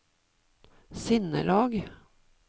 sinnelag